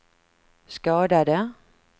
skadade